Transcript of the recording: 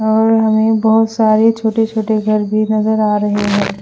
और हमे बहोत सारे छोटे छोटे घर भी नजर आ रहे है।